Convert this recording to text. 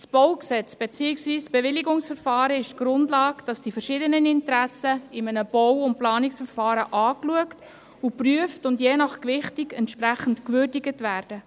Das Baugesetz (BauG) beziehungsweise die Bewilligungsverfahren ist die Grundlage, um die verschiedenen Interessen in einem Bau- und Planungsverfahren anschauen, prüfen und je nach Gewichtung entsprechend würdigen zu können.